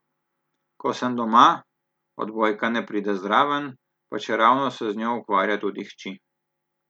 Ko sem doma, odbojka ne pride zraven, pa čeravno se z njo ukvarja tudi hči.